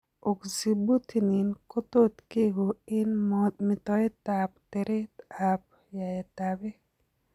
Oxybutynin kotot kekoo eng' metoetab teret ab yaet ab beek